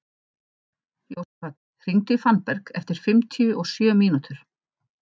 Jósafat, hringdu í Fannberg eftir fimmtíu og sjö mínútur.